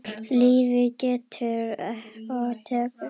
Lífið gefur og tekur.